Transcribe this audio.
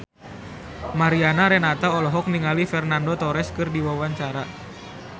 Mariana Renata olohok ningali Fernando Torres keur diwawancara